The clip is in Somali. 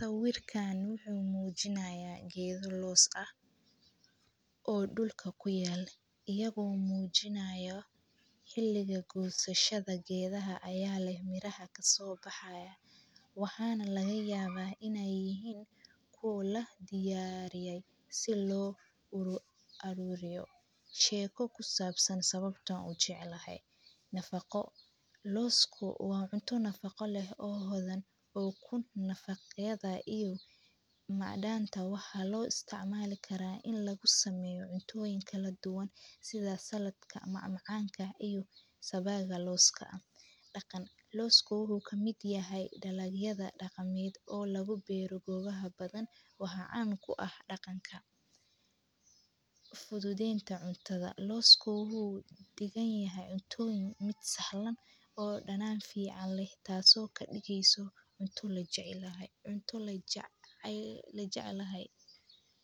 Sawirkaan wuxuu muujinayaa geedo loos ah oo dhulka ku yaal. Iyagoo muujinayo xilliga guushashada geedaha ayaa leh mirahad ka soo baxaya. Waxaana laga yaabahay inay yihiin kuula diyaariyay si loo uru arurayo. Sheeko ku saabsan sababta u jeclahay? Nafaqo. Loosku wacunto nafaqo leh oo hodan oo kun nafaqyada iyo macdaanta waxa loo isticmaali karaa in lagu sameeyo cuntooyin kala duwan sida salad ka macmacaanka ah iyo sabaga looska ah. Dhaqan. Loosku wuxuu ka mid yahay dhalinyada dhaqameed oo labo beeru goobaha badan waxa caan ku ah dhaqanka. Fududeenta cuntada. Loosku wuxuu digan yahay cuntooyin mid sahlan oo dhanaan fiican leh taaso ka dhigiso cunto la jecay lahayd. Cunto la ja- ay la jecay lahayd.